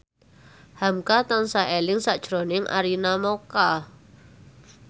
hamka tansah eling sakjroning Arina Mocca